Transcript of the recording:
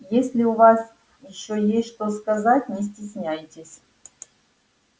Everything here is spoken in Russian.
если у вас ещё есть что сказать не стесняйтесь